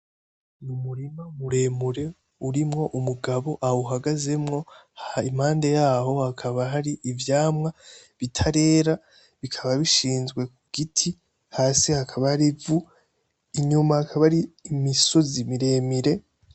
Ni umurima muremure urimwo umugabo awuhagazemwo impande yaho hakaba hari ivyamwa bitarera bikaba bishinzwe kugiti hasi hakaba hari ivu inyuma hakaba hari imisozi miremire.